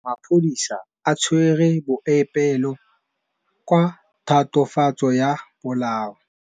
Maphodisa a tshwere Boipelo ka tatofatsô ya polaô.